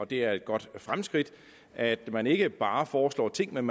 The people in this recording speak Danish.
det er et godt fremskridt at man ikke bare foreslår ting men